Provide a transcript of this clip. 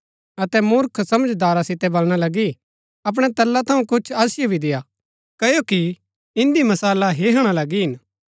अतै मूर्ख समझदारा सितै बलणा लगी अपणै तेला थऊँ कुछ असिओ भी देय्आ क्ओकि इन्दी मशाला हिहणा लगी हिन